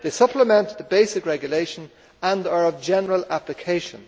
They supplement the basic regulation and are of general application.